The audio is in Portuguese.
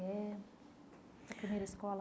É a primeira escola?